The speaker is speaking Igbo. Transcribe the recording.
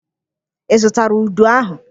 Ị zụtara udu ahụ?